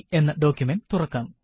എന്ന ഡോക്കുമന്റ് തുറക്കാം